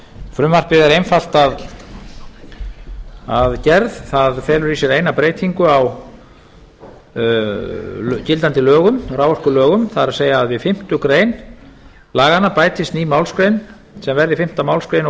frumvarpið er einfalt að gerð það felur í sér eina breytingu á gildandi raforkulögum það er að við fimmtu grein laganna bætist ný málsgrein sem verði fimmtu málsgrein og